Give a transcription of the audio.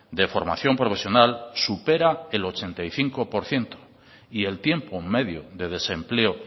de formación profesional supera el ochenta y cinco por ciento y el tiempo medio de desempleo